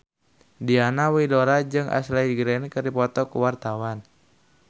Diana Widoera jeung Ashley Greene keur dipoto ku wartawan